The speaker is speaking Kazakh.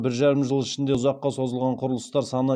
бір жарым жыл ішінде ұзаққа созылған құрылыстар саны